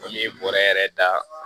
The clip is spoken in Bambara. N'i ye bɔrɛ yɛrɛ da